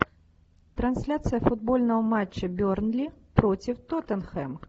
трансляция футбольного матча бернли против тоттенхэм